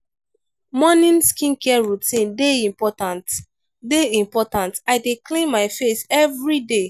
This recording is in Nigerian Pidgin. morning skincare routine dey important dey important i dey clean my face every day.